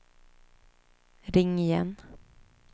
ring igen